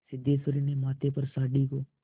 सिद्धेश्वरी ने माथे पर साड़ी को